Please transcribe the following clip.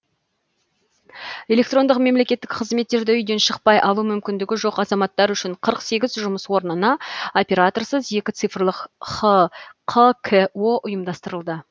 электрондық мемлекеттік қызметтерді үйден шықпай алу мүмкіндігі жоқ азаматтар үшін қырық сегіз жұмыс орнына операторсыз екі цифрлық хқко ұйымдастырылды